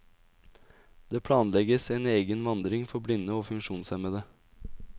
Det planlegges en egen vandring for blinde og funksjonshemmede.